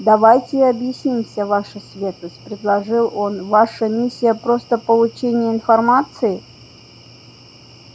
давайте объяснимся ваша светлость предложил он ваша миссия просто получение информации